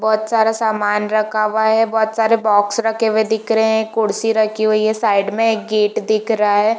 बहुत सारा सामान रखा हुआ है बहुत सारे बॉक्स रखे हुए दिख रहे हैं कुर्सी रखी हुई है साइड में एक गेट दिख रहा है।